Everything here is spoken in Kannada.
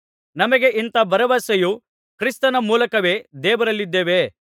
ನಮಗೆ ಇಂಥ ಭರವಸೆಯು ಕ್ರಿಸ್ತನ ಮೂಲಕವೇ ದೇವರಲ್ಲಿದೆ